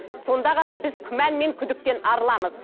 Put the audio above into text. сонда ғана біз күмән мен күдіктен арыламыз